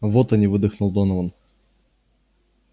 вот они выдохнул донован